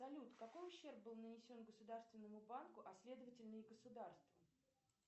салют какой ущерб был нанесен государственному банку а следовательно и государству